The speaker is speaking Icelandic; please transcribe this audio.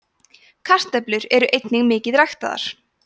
kartöflur eru einnig mikið ræktaðar